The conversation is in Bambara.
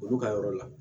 Olu ka yɔrɔ la